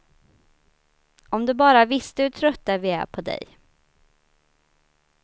Om du bara visste hur trötta vi är på dig.